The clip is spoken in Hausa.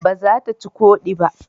Ba za ta ci ƙodi ba